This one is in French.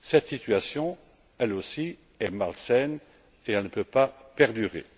Cette situation, elle aussi, est malsaine et ne peut pas perdurer.